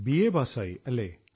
BA പാസ്സായി അല്ലേ